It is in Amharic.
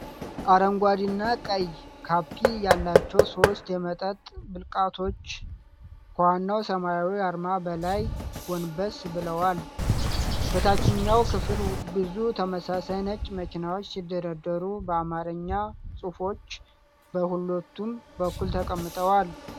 አረንጓዴ እና ቀይ ካፕ ያላቸው ሦስት የመጠጥ ብልቃጦች ከዋናው ሰማያዊ አርማ በላይ ጎንበስ ብለዏል። በታችኛው ክፍል ብዙ ተመሳሳይ ነጭ መኪናዎች ሲደረደሩ፣ በአማርኛ ጽሑፎች በሁለቱም በኩል ተቀምጠዋል።